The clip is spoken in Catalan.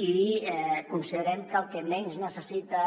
i considerem que el que menys necessita